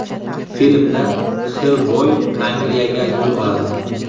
Filmda Xellboy Angliyaga yo‘l oladi.